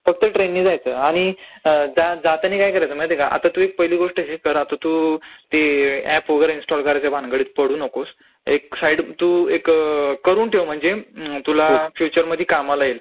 फक्त ट्रेननी जायचं. आणि जातानी काय करयचं माहितेय दुसरी गोष्ट हे कर आता तू ते ऍप वगैरे इन्स्टॉल करायच्या भानगडीत पडू नकोस, एक साइड म्हणजे करून ठेव तू म्हणजे तुला फ्युचरमधी कामाला येईल,